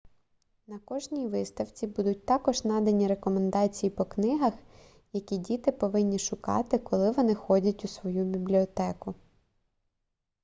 на кожній виставці будуть також надані рекомендації по книгах які діти повинні шукати коли вони ходять у свою бібліотеку